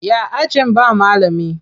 Ya ajin ba malami?